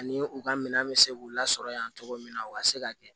Ani u ka minɛn bɛ se k'u lasɔrɔ yan cogo min na u ka se ka kɛ